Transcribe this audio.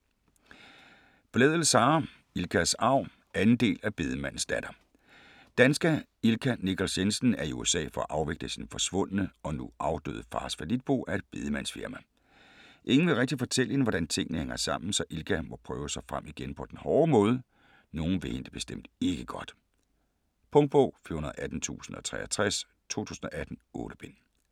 Blædel, Sara: Ilkas arv 2. del af Bedemandens datter. Danske Ilka Nichols Jensen er i USA for at afvikle sin forsvundne og nu afdøde fars fallitbo af et bedemandsfirma. Ingen vil rigtig fortælle hende, hvordan tingene hænger sammen, så Ilka må prøve sig frem på den hårde måde. Nogen vil hende det bestemt ikke godt. Punktbog 418063 2018. 8 bind.